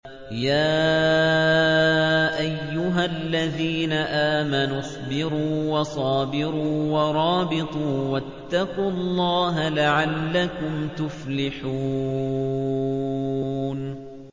يَا أَيُّهَا الَّذِينَ آمَنُوا اصْبِرُوا وَصَابِرُوا وَرَابِطُوا وَاتَّقُوا اللَّهَ لَعَلَّكُمْ تُفْلِحُونَ